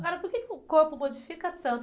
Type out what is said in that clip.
Agora, por que que o corpo modifica tanto?